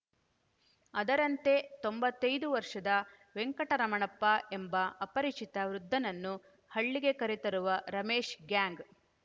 ಅದರಂತೆ ತೊಂಬತ್ತೈದು ವರ್ಷದ ವೆಂಕಟರಮಣಪ್ಪ ಎಂಬ ಅಪರಿಚಿತ ವೃದ್ಧನನ್ನು ಹಳ್ಳಿಗೆ ಕರೆತರುವ ರಮೇಶ್‌ ಗ್ಯಾಂಗ್‌